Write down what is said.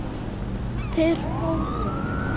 Þeir fóru.